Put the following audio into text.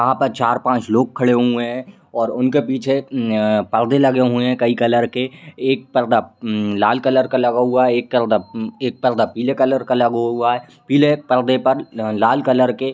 यहाँ पर चार पांच लोग खड़े हुई है और उनके पीछे उम्म अ पर्दे लगे हुई है कई कलर के एक पर्दा उम्म लाल कलर का लगा हुआ है एक करदा एक पर्दा पीले कलर का लगा हुआ है पीले परदे पर लाल कलर के--